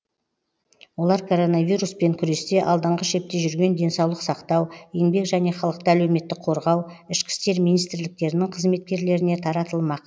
олар коронавируспен күресте алдыңғы шепте жүрген денсаулық сақтау еңбек және халықты әлеуметтік қорғау ішкі істер министрліктерінің қызметкерлеріне таратылмақ